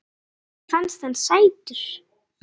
Það var hlegið.